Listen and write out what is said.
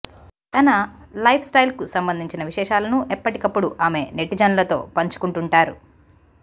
తన లైఫ్స్టైల్కు సంబంధించిన విశేషాలను ఎప్పటికప్పుడు ఆమె నెటిజన్లతో పంచుకుంటుంటారు